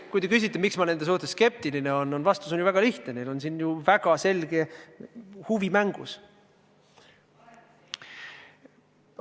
Kui te küsite, miks ma nende suhtes skeptiline olen, siis vastus on väga lihtne: neil on väga selged huvid mängus.